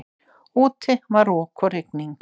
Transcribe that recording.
Úti var rok og rigning.